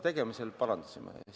Me parandasime need.